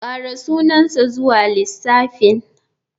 Ƙara sunansa zuwa lissafin.